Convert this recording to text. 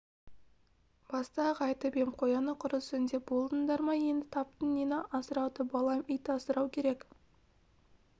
баста-ақ айтып ем қояны құрысын деп болдыңдар ма енді таптың нені асырауды балам ит асырау керек